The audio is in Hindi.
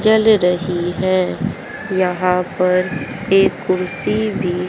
चल रही है यहा पर एक कुर्सी भी--